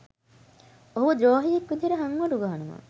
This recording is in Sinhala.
ඔහුව ද්‍රෝහියෙක් විදියට හංවඩු ගහනවා.